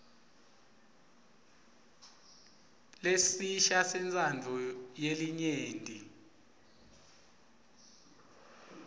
lesisha sentsandvo yelinyenti